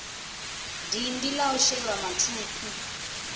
dindi la u shelwa mathukhwi